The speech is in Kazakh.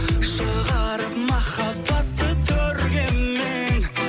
шығарып махаббатты төрге мен